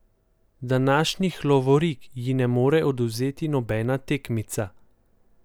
Današnjih lovorik ji ne more odvzeti nobena tekmica.